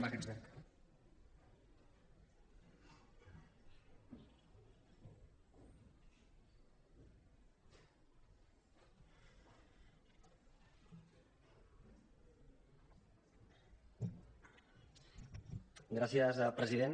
gràcies president